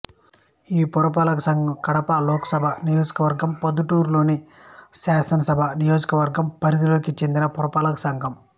ఈ పురపాలక సంఘం కడప లోకసభ నియోజకవర్గం లోనిప్రొద్దుటూరు శాసనసభ నియోజకవర్గం పరిధికి చెందిన పురపాలక సంఘం